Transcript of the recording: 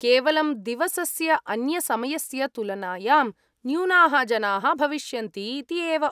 केवलं दिवसस्य अन्यसमयस्य तुलनायां न्यूनाः जनाः भविष्यन्ति इति एव।